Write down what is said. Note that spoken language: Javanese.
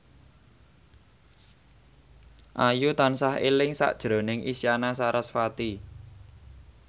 Ayu tansah eling sakjroning Isyana Sarasvati